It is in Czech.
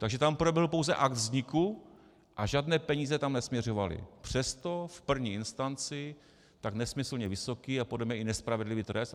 Takže tam proběhl pouze akt vzniku a žádné peníze tam nesměřovaly, přesto v první instanci tak nesmyslně vysoký a podle mě i nespravedlivý trest.